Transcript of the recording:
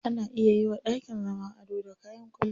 Ana iya yiwa dakin zama ado da kayan kwalliya.